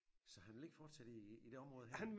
Så han vil ikke fortsætte i i det område her?